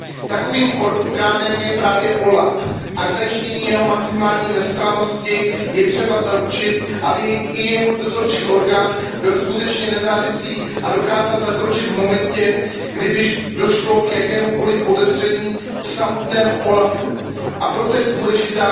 Takovým orgánem je právě OLAF a k zajištění jeho maximální nestrannosti je třeba zaručit, aby i jeho dozorčí orgán byl skutečně nezávislý a dokázal zakročit v momentě, kdy by došlo k jakémukoliv podezření v samotném úřadu OLAF. A proto je pro nás důležitá